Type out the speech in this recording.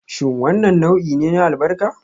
Shin wannan nau'i ne na albarka?